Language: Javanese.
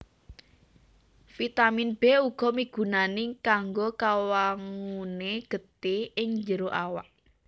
Vitamin B uga migunani kanggo kawanguné getih ing jero awak